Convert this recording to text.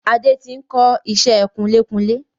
Adé tí n kọ ìṣẹ́ kunlékunlé